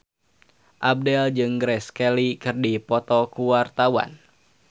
Abdel jeung Grace Kelly keur dipoto ku wartawan